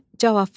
Cavab verin.